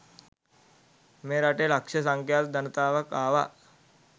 මේ රටේ ලක්ෂ සංඛ්‍යාත ජනතාවක් ආවා.